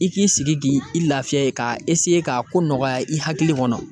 I k'i sigi k'i i lafiya ka ka ko nɔgɔya i hakili kɔnɔ.